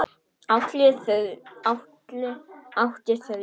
Atli átti þrjú börn fyrir.